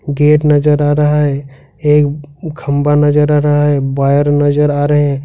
Gate नजर आ रहा है एक खंभा नजर आ रहा है वायर नजर आ रहे हैं।